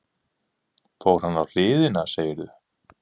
Fór hann á hliðina, segirðu?